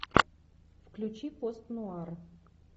включи пост нуар